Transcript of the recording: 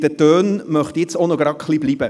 Bei den Tönen möchte ich denn auch verweilen.